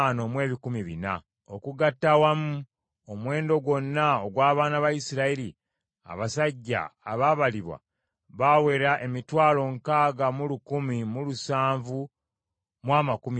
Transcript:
Okugatta awamu omuwendo gwonna ogw’abaana ba Isirayiri abasajja abaabalibwa baawera emitwalo nkaaga mu lukumi mu lusanvu mu amakumi asatu (601,730).